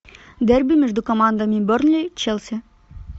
дерби между командами бернли челси